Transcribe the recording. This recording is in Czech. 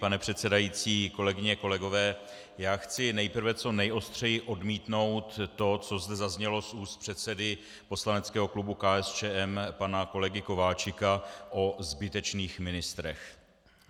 Pane předsedající, kolegyně, kolegové, já chci nejprve co nejostřeji odmítnout to, co zde zaznělo z úst předsedy Poslaneckého klubu KSČM pana kolegy Kováčika o zbytečných ministrech.